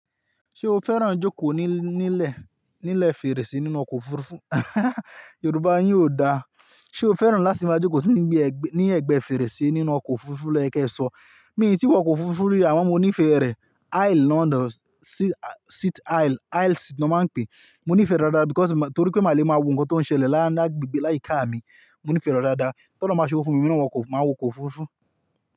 Ṣé o fẹ́ràn jókòó ní, nílẹ̀, nílẹ̀ fèrèsé nínú ọkọ̀ òfurufú? Yorùbá yín ò da. Ṣé o fẹ́ràn láti máa jókòó sí níbi ẹgbẹ́, ní ẹ̀gbẹ́ fèrèsé nínú ọkọ̀ òfurufú loyẹ kẹ sọ. Mi ò tí wọ ọkọ̀ òfurufú rí àmọ́ mo ní ìfẹ́ rẹ̀. Aisle ló ń dọ̀, seat aisle, aisle seat ni wọ́n máa ń pè é. Mo ní ìfẹ́ rẹ̀ dáadáa because mo, torí pé màá le máa wo nǹkan tó ń ṣẹlẹ̀ láàárín agbègbè láyìíká mi. Mo nífẹ̀ẹ́ rẹ̀ dáadáa. T'ọ́lọ́run bá ṣe owo fún mi, èmi náà á wọ ọkọ̀, màá wọ ọkọ̀ òfurufú.